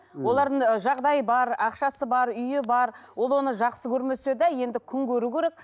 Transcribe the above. олардың ы жағдайы бар ақшасы бар үйі бар ол оны жақсы көрмесе де енді күн көру керек